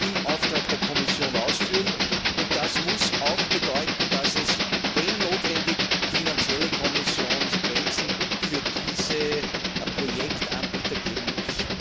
im Namen der Kommission ausführen, und das muss auch bedeuten, dass es wenn notwendig finanzielle Konsequenzen für diese Projektanbieter geben muss.